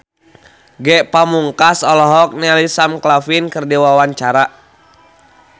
Ge Pamungkas olohok ningali Sam Claflin keur diwawancara